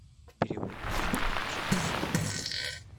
перевод денег с карточки на телефон